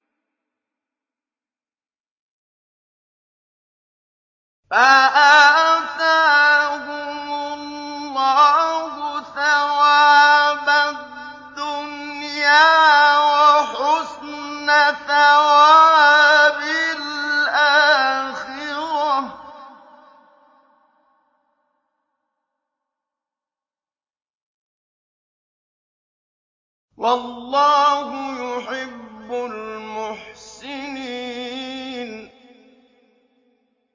فَآتَاهُمُ اللَّهُ ثَوَابَ الدُّنْيَا وَحُسْنَ ثَوَابِ الْآخِرَةِ ۗ وَاللَّهُ يُحِبُّ الْمُحْسِنِينَ